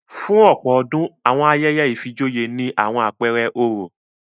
Fún ọ̀pọ̀ ọdún, àwọn ayẹyẹ ìfijoyé ní àwọn apẹẹrẹ oró